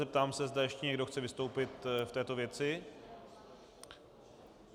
Zeptám se, zda ještě někdo chce vystoupit v této věci.